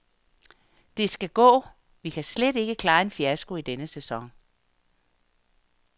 Det skal gå, vi kan slet ikke klare en fiasko i denne sæson.